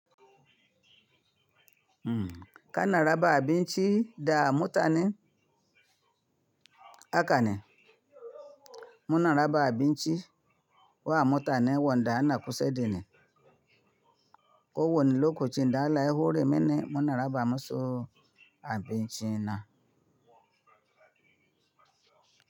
Kana raba abin ci da mutanen? Hakane. Muna raba abin ci wa mutanen wanda ana kusa da ni. Ko wani lokacin da Alkah ya hore mini, muna raba musu abin ci na.